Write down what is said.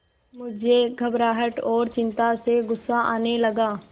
मुझे घबराहट और चिंता से गुस्सा आने लगा